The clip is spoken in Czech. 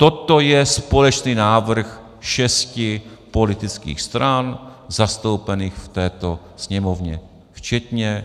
Toto je společný návrh šesti politických stran zastoupených v této Sněmovně včetně